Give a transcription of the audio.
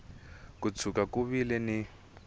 ko tshuka ku vile ni